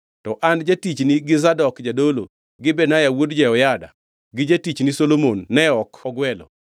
To an jatichni gi Zadok jadolo gi Benaya wuod Jehoyada gi jatichni Solomon ne ok ogwelo.